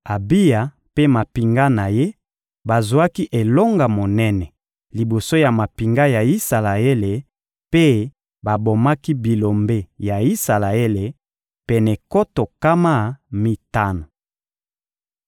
Abiya mpe mampinga na ye bazwaki elonga monene liboso ya mampinga ya Isalaele mpe babomaki bilombe ya Isalaele pene nkoto nkama mitano.